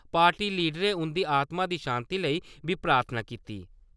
Party लीडरें उं'दी आत्मा दी शांति लेई बी प्रार्थना कीती।